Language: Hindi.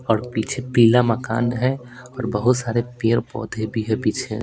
और पीछे पीला मकान है और बहुत सारे पेड़-पौधे भी है पीछे.